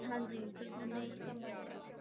ਹਾਂਜੀ ਸਭ ਉਹਨੇ ਹੀ ਸੰਭਾਲਿਆ ਵਾ।